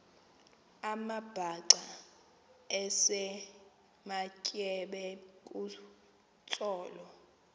amabhaca esematyeba kutsolo